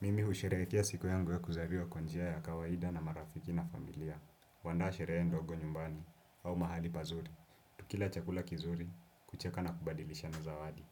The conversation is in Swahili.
Mimi usherehekea siku yangu ya kuzaliwa kwa njia ya kawaida na marafiki na familia. Waandaa sherehe ndogo nyumbani au mahali pazuri. Tukila chakula kizuri, kucheka na kubadilishana zawadi.